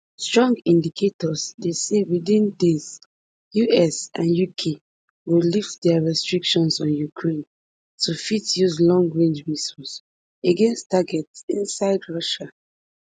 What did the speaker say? strong indications dey say within days us and uk go lift dia restrictions on ukraine to fit use longrange missiles against targets inside russia